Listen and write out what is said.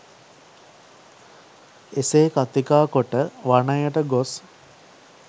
එසේ කථිකා කොට වනයට ගොස්